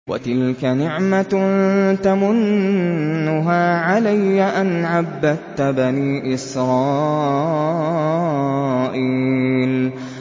وَتِلْكَ نِعْمَةٌ تَمُنُّهَا عَلَيَّ أَنْ عَبَّدتَّ بَنِي إِسْرَائِيلَ